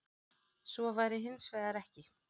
Svo væri hins vegar ekki